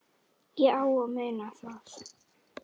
Ég á að muna það.